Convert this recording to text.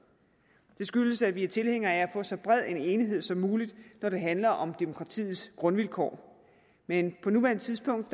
det skyldes at vi er tilhængere af at få så bred en enighed som muligt når det handler om demokratiets grundvilkår men på nuværende tidspunkt